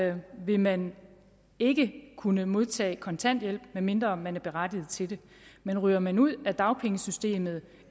i år vil man ikke kunne modtage kontanthjælp medmindre man er berettiget til det men ryger man ud af dagpengesystemet